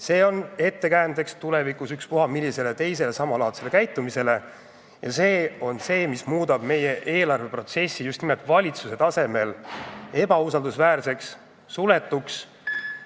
See on ettekäändeks tulevikus ükspuha millisele teisele samalaadsele käitumisele ja see muudab meie eelarveprotsessi just nimelt valitsuse tasemel ebausaldusväärseks, suletuks.